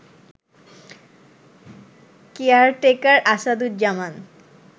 caretaker Asaduzzaman